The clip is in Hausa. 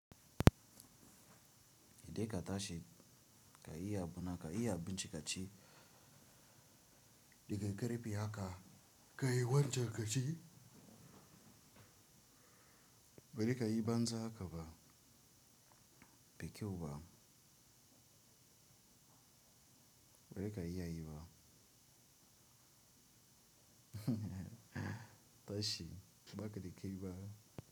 Indai ka tashi ka iya abuna, ka iya abinci kaci, da ka yi ƙarfi haka ka yi wancan ka ci, bari ka yi banza haka ba, bai kyau ba. Bari ka yi a yi ba. Tashi, ba ka da ke yi ba.